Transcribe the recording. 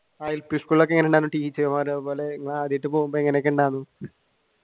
ആഹ് L P സ്കൂളൊക്കെ എങ്ങനെയുണ്ടായിരുന്നു